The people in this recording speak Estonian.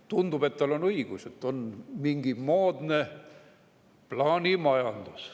Tundub, et tal on õigus, et on mingi moodne plaanimajandus.